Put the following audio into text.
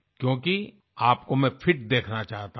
क्योंकि आपको मैं फिट देखना चाहता हूँ